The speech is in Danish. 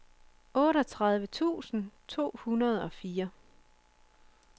otteogtredive tusind to hundrede og fire